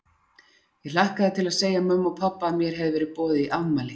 Ég hlakkaði til að segja mömmu og pabba að mér hefði verið boðið í afmæli.